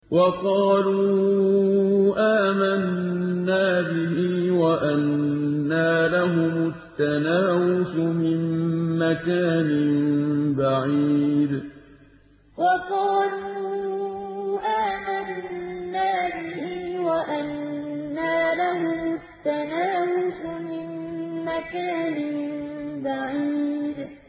وَقَالُوا آمَنَّا بِهِ وَأَنَّىٰ لَهُمُ التَّنَاوُشُ مِن مَّكَانٍ بَعِيدٍ وَقَالُوا آمَنَّا بِهِ وَأَنَّىٰ لَهُمُ التَّنَاوُشُ مِن مَّكَانٍ بَعِيدٍ